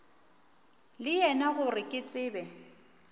le yena gore ke tsebe